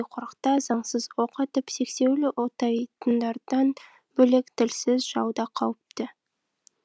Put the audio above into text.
қорықта заңсыз оқ атып сексеуіл отайтындардан бөлек тілсіз жау да қауіпті